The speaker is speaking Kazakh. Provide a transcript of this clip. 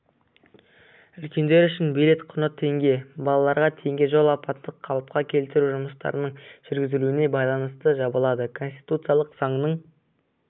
үлкендер үшін билет құны теңге балалаларға теңге жол апаттық-қалыпқа келтіру жұмыстарының жүргізілуіне байланысты жабылады конституциялық заңның